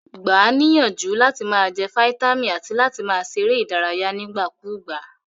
Gba a níyànjú làti ma je vitamin àti láti ma se eré ìdárayé nígbà kúgbà